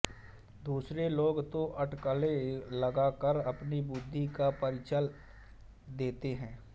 दूसरे लोग तो अटकलें लगाकर अपनी बुद्धि का परिचय देते हैं